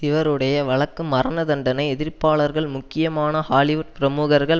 இவருடைய வழக்கு மரணதண்டனை எதிர்ப்பாளர்கள் முக்கியமான ஹாலிவுட் பிரமுகர்கள்